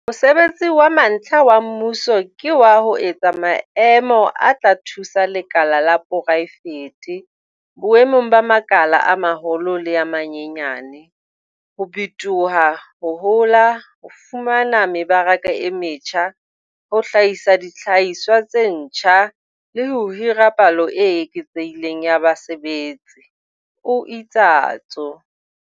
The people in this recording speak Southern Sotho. Mosebetsi wa mantlha wa mmuso ke wa ho etsa maemo a tla thusa lekala la poraefete boemong ba makala a maholo le a manyenyane, ho bitoha, ho hola, ho fumana mebaraka e metjha, ho hlahisa dihlahiswa tse ntjha, le ho hira palo e eketsehileng ya basebetsi, o itsatso.